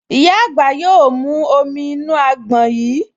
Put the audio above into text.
Ìyá àgbà yóò mú omi inú àgbọn yìí